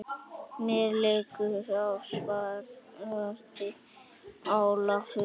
Mér liggur á, svaraði Ólafur.